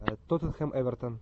тоттенхэм эвертон